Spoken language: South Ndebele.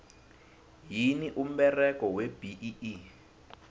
yini umberego webee